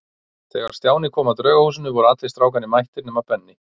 Þegar Stjáni kom að Draugahúsinu voru allir strákarnir mættir nema Benni.